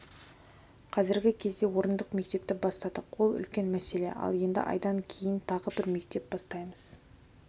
қазіргі кезде орындық мектепті бастадық ол үлкен мәселе ал енді айдан кейін тағы бір мектеп бастаймыз